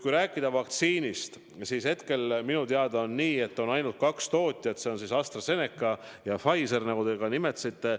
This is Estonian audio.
Kui rääkida vaktsiinist, siis hetkel minu teada on nii, et on ainult kaks tootjat: need on siis AstraZeneca ja Pfizer, nagu te ka nimetasite.